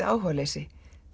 áhugaleysi